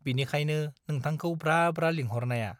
बिनिखायनो नोंथांखौ ब्रा ब्रा लिंहरनाया।